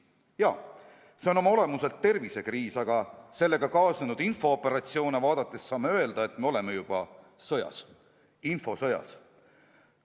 Jaa, see on oma olemuselt tervisekriis, aga sellega kaasnenud infooperatsioone vaadates saame öelda, et me oleme juba sõjas – infosõjas.